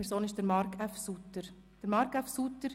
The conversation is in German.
Es handelt sich um Marc F. Suter.